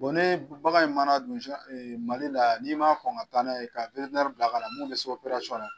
Bon ni bagan ye mana dun Mali la, ni'i ma kɔn ka taa n'a ye ka witirinɛri bila ka na